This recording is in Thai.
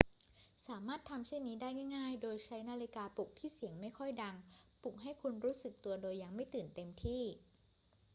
สามารถทำเช่นนี้ได้ง่าย ๆ โดยใช้นาฬิกาปลุกที่เสียงไม่ค่อยดังปลุกให้คุณรู้สึกตัวโดยยังไม่ตื่นเต็มที่